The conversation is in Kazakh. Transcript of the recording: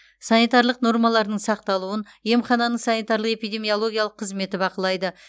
санитарлық нормалардың сақталуын емхананың санитарлық эпидемиологиялық қызметі бақылайды